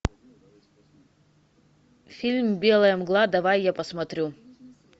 фильм белая мгла давай я посмотрю